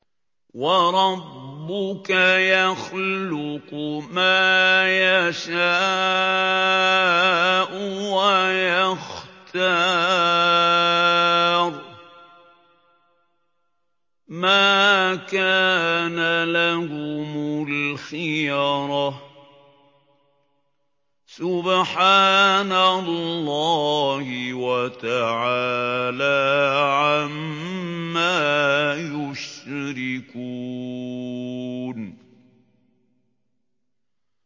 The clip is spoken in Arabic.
وَرَبُّكَ يَخْلُقُ مَا يَشَاءُ وَيَخْتَارُ ۗ مَا كَانَ لَهُمُ الْخِيَرَةُ ۚ سُبْحَانَ اللَّهِ وَتَعَالَىٰ عَمَّا يُشْرِكُونَ